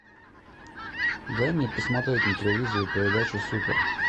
дай мне посмотреть на телевизоре передачу супер